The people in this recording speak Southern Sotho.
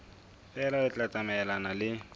feela le tla tsamaelana le